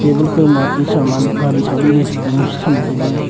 muh khoma te saman gari chali cham taga.